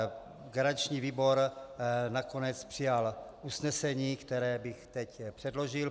Garanční výbor nakonec přijal usnesení, které bych teď předložil: